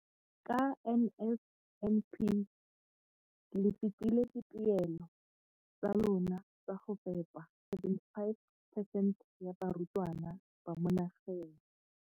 Ka NSNP le fetile dipeelo tsa lona tsa go fepa masome a supa le botlhano a diperesente ya barutwana ba mo nageng.